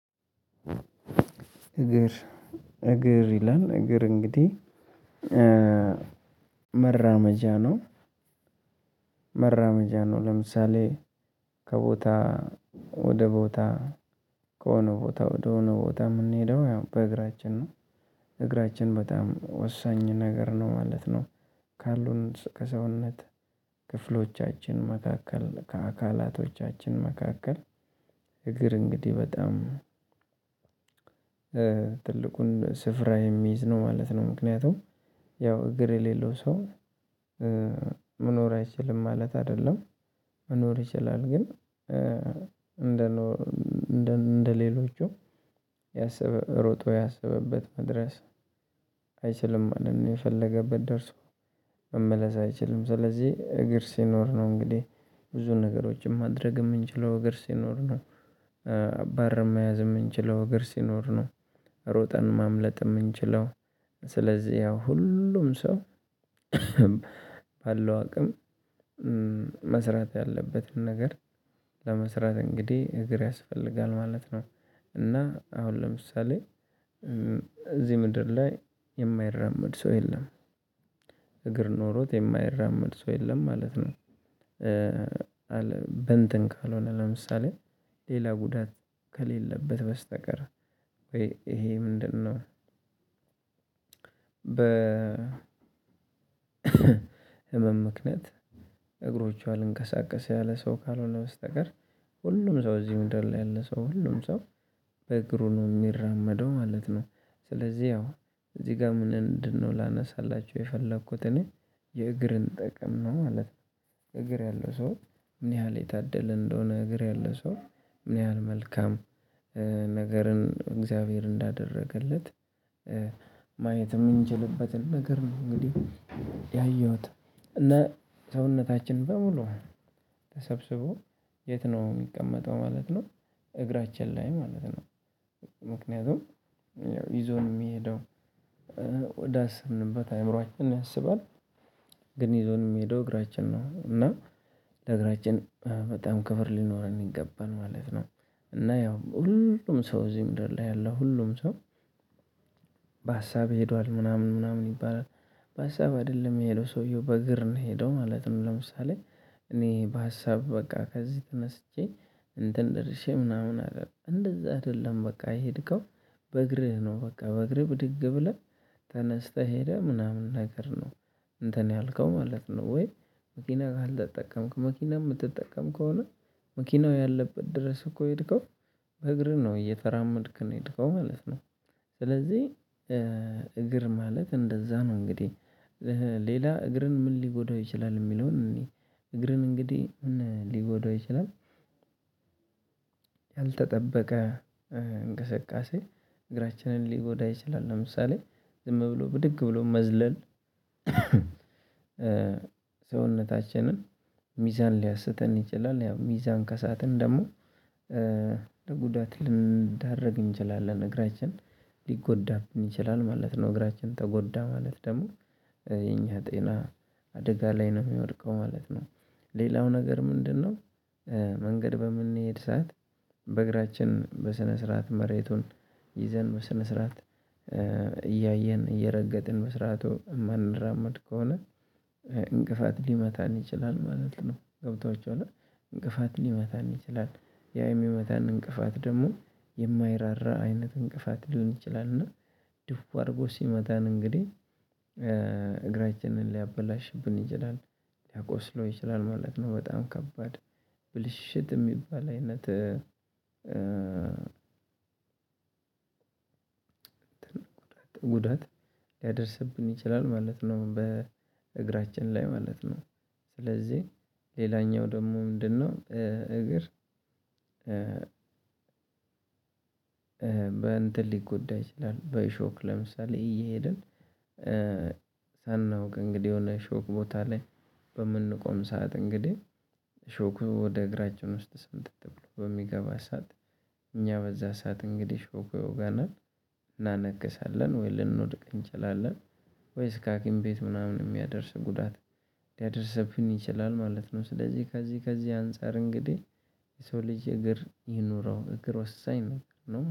እግር እግር ይላል እግር እንግዲህ ነው መራመጃ ነው። ለምሳሌ ከቦታ ወደ ቦታ ከሆነ ቦታ ወደ ሆነ ቦታ የምንሄደው ያው በእግራችን ነው እግራችን በጣም ወሳኝ ነገር ነው ማለት ነው። ካሉን ከሰውነት ክፍሎቻችን መካከል ከአካላቶቻችን መካከል እግር እንግዲህ በጣም ትልቁን ስፍራ የሚይዝ ነው ማለት ነው። ምክንያቱም ያው እግር የሌለው ሰው መኖር አይችልም ማለት አይደለም። መኖር ይችላል ግን እንደ እንደ ሌሎቹ ያሰበ ሮጦ ያሰበበት መድረስ መሄድ ነው የፈለገበት ደርሶ መመለስ አይችልም። ስለዚህ እግር ሲኖር ነው እንግዲህ ብዙ ነገሮችን ማድረግ የምንችለው እግር ሲኖር ነው። በር መያዝ የምንችለው ሀገር ሲኖር ነው። ሮጠን ማምለጥ የምንችለው ስለዚህ ያው ሁሉም ሰው ባለው አቅም መስራት ያለበትን ነገር ለመስራት እንግዲህ እግር ያስፈልጋል ማለት ነው። እና አሁን ለምሳሌ እዚህ ምድር ላይ የማይራመድ ሰው የለም እግር ኖሮት የማይራመድ ሰው የለም ማለት ነው። እንትን ካልሆነ ለምሳሌ ሌላ ጉዳት ከሌለበት በስተቀር ይሄ ምንድነው? በህመም ምክንያት እግሮቹ አልንቀሳቀሰ ያለ ሰው ካልሆነ በስተቀር ሁሉም ሰው እዚህ ምድር ላይ ያለ ሰው ሁሉም ሰው በእግሩ ነው የሚራመደው ማለት ነው። ስለዚህ ያው እዚህ ጋር ምንእንድን ሆነ ላነሳላችሁ የፈለኩት እኔ የእግርን ጠቀም ነው ማለት ነው። እግር ያለው ሰው ምን ያህል የታደለ እንደሆነ እግር ያለው ሰው ምን ያህል መልካም ነገርን እግዚአብሔር እንዳደረገለት ማየት የምንችልበትን ነገር ነው። እንግዲህ ያየሁት እነ ሰውነታችን በሙሉ ተሰብስቦ የት ነው የሚቀመጠው ማለት ነው። እግራችን ላይ ማለት ነው ምክንያቱም ይዞን የሚሄደው ወዳሰብንበት አእምሮአችን ያሰባል ግን ይዞን የሚሄደው እግራችን ነው። እና ለእግራችን በጣም ከብር ሊኖረን ይገባል ማለት ነው። እና ያው ሁሉም ሰው እዚህ ምድር ላይ ያለው ሁሉም ሰው በሀሳብ ሄዷል ምናምን ምናምን ይባላል። በሀሳብ አይደለም የሄደው ሰውየው በእግር ነው የሄደው ማለትም ለምሳሌ እኔ በሀሳብ በቃ ከዚህ ተነስቼ እንትን ደርሼ ምናምን አለ እንደዛ አይደለም በቃ የሄድከው በእግርህ ነው በቃ በእግርህ ብድግ ብለህ ተነስተህ ሄደህ ምናምን ነገር ነው። እንትን ያልከው ማለት ነው ወይ መኪና ካልተጠቀምክ መኪና የምትጠቀም ከሆነ መኪናው ያለበት ድረስ እኮ ሄድከው በእግርህ ነው እየተራመድክ ነው የሄድከው ማለት ነው። ስለዚህ እግር ማለት እንደዛ ነው እንግዲህ ሌላ እግርን ምን ሊጎዳው ይችላል የሚለውን እንይ። እግርን እንግዲህ ሊጎዳው ይችላል። ያልተጠበቀ እንቅስቃሴ እግራችንን ሊጎዳ ይችላል ለምሳሌ ዝም ብሎ ብድግ ብሎ መዝለል ሰውነታችንን ሚዛን ሊያስተን ይችላል። ያው ሚዛን ከሳትን ደግሞ ለጉዳት ልንዳረግ እንችላለን እግራችን ሊጎዳብን ይችላል ማለት ነው እግራችን ተጎዳ ማለት ደግሞ የኛ ጤና አደጋ ላይ ነው የሚወድቀው ማለት ነው። ሌላው ነገር ምንድነው? መንገድ በምንሄድ ሰዓት በእግራችን በስነ ስርዓት መሬቱን ይዘን በስነ ስርዓት እያየን እየረገጥን መስራቱ የማንራመድ ከሆነ እንቅፋት ሊመታን ይችላል ማለት ነው። ገብቷችሁዋላ እንቅፋት ሊመታን ይችላል ያ የሚመታን እንቅፋት ደግሞ የማይራራ አይነት እንቅፋት ሊሆን ይችላል እና ድው አድርጎ ሲመታን እንግዲህ እግራችንን ሊያበላሽብን ይችላል ሊያቆስለው ይችላል ማለት ነው። በጣም ከባድ ብልሽት የሚባል አይነት ጉዳት ሊያደርስብን ይችላል ማለት ነው። በእግራችን ላይ ማለት ነው። ስለዚህ ሌላኛው ደግሞ ምንድነው? እግር በእንትን ሊጎዳ ይችላል በእሾክ ለምሳሌ እየሄድን ሳናውቅ እንግዲህ የሆነ ሾክ ቦታ ላይ በምንቆም ሰዓት እንግዲህ ሾኩ ወደ እግራችን ውስጥ ስምጥጥ ብሎ በሚገባ ሰዓት እኛ በዛ ሰዓት እንግዲህ ሾኩ ይወጋናል እናነክሳለን ወይ ልንወድቅ እንችላለን ወይስ እስከ ከሀኪም ቤት ምናምን የሚያደርስ ጉዳት ሊያደርሰብን ይችላል ማለት ነው። ስለዚህ ከዚህ ከዚህ አንፃር እንግዲህ የሰው ልጅ እግር ይኑረው እግር ወሳኝ ነበር